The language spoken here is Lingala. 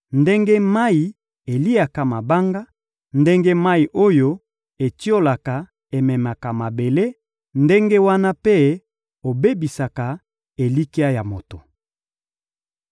ndenge mayi eliaka mabanga, ndenge mayi oyo etiolaka ememaka mabele, ndenge wana mpe obebisaka elikya ya moto.